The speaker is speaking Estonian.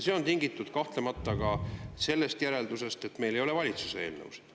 See on kahtlemata tingitud ka sellest järeldusest, et meil ei ole valitsuse eelnõusid.